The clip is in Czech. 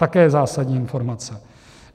Také zásadní informace.